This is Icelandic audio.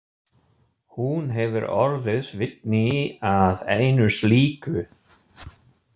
Hún hefur orðið vitni að einu slíku.